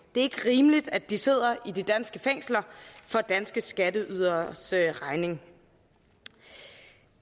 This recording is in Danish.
ikke rimeligt at de sidder i de danske fængsler for danske skatteyderes regning